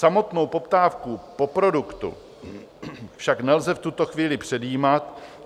Samotnou poptávku po produktu však nelze v tuto chvíli předjímat."